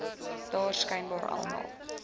dra skynbaar almal